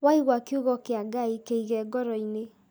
Waigua kiugo kĩa Ngai kĩige ngoro-inĩ